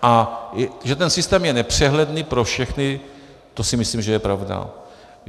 A že ten systém je nepřehledný pro všechny, to si myslím, že je pravda.